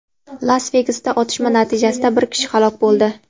Las-Vegasda otishma natijasida bir kishi halok bo‘ldi.